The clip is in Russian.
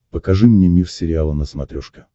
покажи мне мир сериала на смотрешке